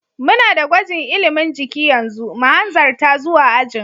Muna da gwajin ilimin jiki yanzu, mu hanzarta zuwa ajin.